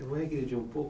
Eu vou regredir um pouco.